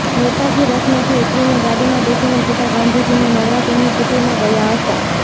નેતાજી રથમાંથી ઊતરીને ગાડીમાં બેસીને સીધા ગાંધીજીને મળવા તેમની કુટિરમાં ગયા હતા